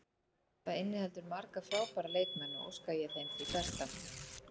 Það inniheldur marga frábæra leikmenn og óska ég þeim því besta.